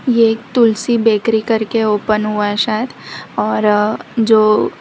ये तुलसी बेकरी करके ओपन हुआ शायद और जो --